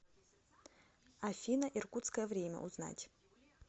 афина иркутское время узнать